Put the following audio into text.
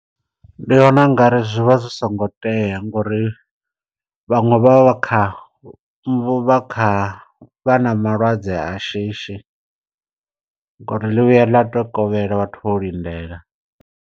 Ndi vhona u nga ri zwi vha zwi songo tea ngori vhaṅwe vha vha kha vha kha vha na malwadze a shishi. Ngauri ḽi vhuya ḽa to kovhela vhathu vho lindela.